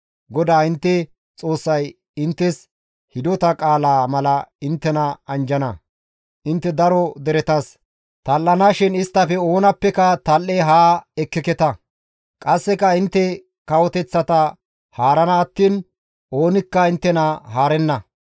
GODAA intte Xoossay inttes hidota qaalaa mala inttena anjjana; intte daro deretas tal7anashin isttafe oonappeka tal7e haa ekkeeta; qasseka intte kawoteththata haarana attiin oonikka inttena haarenna.